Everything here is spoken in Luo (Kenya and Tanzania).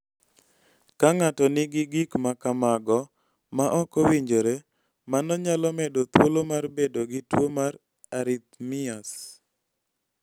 Ka ng�ato nigi gik ma kamago ma ok owinjore, mano nyalo medo thuolo mar bedo gi tuo mar arrhythmias.